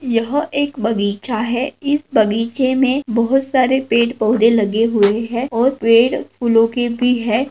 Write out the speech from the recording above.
यह एक बगीचा है इस बगीचे में बहोत सारे पेड़ पौधे लगे हुए हैं और पेड़ फूलों के भी है।